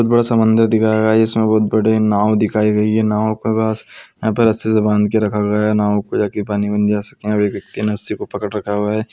बड़ा समंदर दिखाया गया है जिसमे बहुत बड़ी नाव दिखाई गई है नाव के पास यहाँ पे रस्सी से बांध के रखा गया है नाव पे जा के पानी में नहीं जा सकते अब एक व्यक्ति ने रस्सी को पकड़ रखा हुआ है।